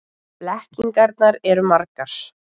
Blekkingarnar eru margar.